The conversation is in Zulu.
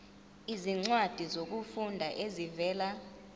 izincwadi zokufunda ezivela